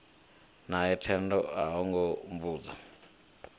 nae thendo o hunga mbudzi